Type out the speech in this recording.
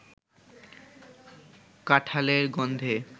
কাঠাঁলের গন্ধে